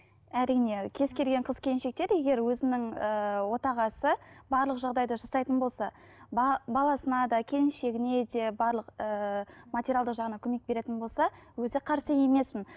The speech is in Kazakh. әрине кез келген қыз келіншектер егер өзінің ыыы отағасы барлық жағдайды жасайтын болса баласына да келіншегіне де барлық ыыы материалдық жағынына көмек беретін болса өте қарсы емеспін